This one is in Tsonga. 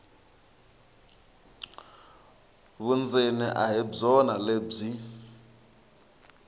vundzeni a hi byona lebyi